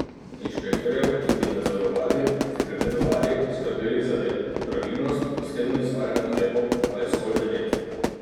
Inšpektorjev, ki bi nadzorovali, pregledovali, skrbeli za red, pravilnost, dosledno izvajanje ukrepov pa je zgolj devet.